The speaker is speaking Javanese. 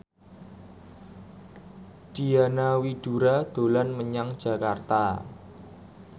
Diana Widoera dolan menyang Jakarta